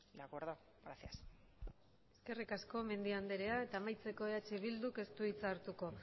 de acuerdo gracias eskerrik asko mendia andrea eta amaitzeko eh bilduk ez du hitza hartuko